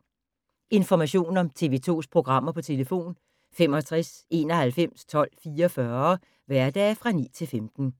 Information om TV 2's programmer: 65 91 12 44, hverdage 9-15.